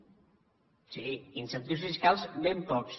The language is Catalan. sí incentius fiscals ben pocs